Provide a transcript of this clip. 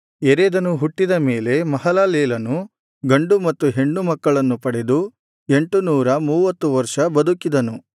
ಯೆರೆದನು ಹುಟ್ಟಿದ ಮೇಲೆ ಮಹಲಲೇಲನು ಗಂಡು ಮತ್ತು ಹೆಣ್ಣು ಮಕ್ಕಳನ್ನು ಪಡೆದು ಎಂಟುನೂರ ಮೂವತ್ತು ವರ್ಷ ಬದುಕಿದನು